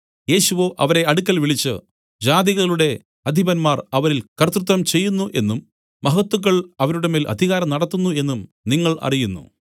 യേശുവോ അവരെ അടുക്കൽ വിളിച്ചു ജാതികളുടെ അധിപന്മാർ അവരിൽ കർത്തൃത്വം ചെയ്യുന്നു എന്നും മഹത്തുക്കൾ അവരുടെ മേൽ അധികാരം നടത്തുന്നു എന്നും നിങ്ങൾ അറിയുന്നു